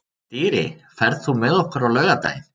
Dýri, ferð þú með okkur á laugardaginn?